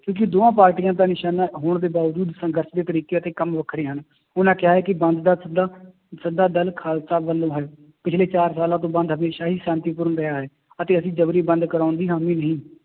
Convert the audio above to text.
ਕਿਉਂਕਿ ਦੋਹਾਂ ਪਾਰਟੀਆਂ ਦਾ ਨਿਸ਼ਾਨਾ ਹੋਣ ਦੇ ਬਾਵਜੂਦ ਸੰਘਰਸ਼ ਦੇ ਤਰੀਕੇ ਅਤੇ ਕੰਮ ਵੱਖਰੇ ਹਨ, ਉਹਨਾਂ ਕਿਹਾ ਹੈ ਕਿ ਬੰਦ ਦਾ ਸੱਦਾ ਸੱਦਾ ਦਲ ਖਾਲਸਾ ਵੱਲੋਂ ਹੈ, ਪਿੱਛਲੇ ਚਾਰ ਸਾਲਾਂ ਤੋਂ ਬੰਦ ਹਮੇਸ਼ਾ ਹੀ ਸ਼ਾਂਤੀਪੂਰਨ ਰਿਹਾ ਹੈ, ਅਤੇ ਅਸੀਂ ਜ਼ਬਰੀ ਬੰਦ ਕਰਵਾਉਣ ਦੀ ਹਾਮੀ ਨਹੀਂ